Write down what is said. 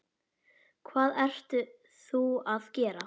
Hvað ert þú að gera?